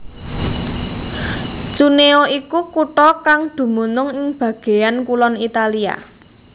Cuneo iku kutha kang dumunung ing bagéan kulon Italia